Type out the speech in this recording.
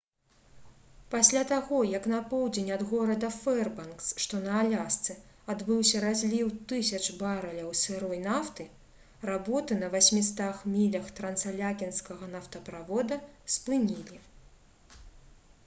пасля таго як на поўдзень ад горада фэрбанкс што на алясцы адбыўся разліў тысяч барэляў сырой нафты работы на 800 мілях трансаляскінскага нафтаправода спынілі